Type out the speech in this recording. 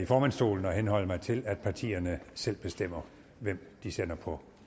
formandsstolen at henholde mig til at partierne selv bestemmer hvem de sender på